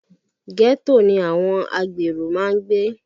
Ghetto ni àwọn agbèrò máa ń gbé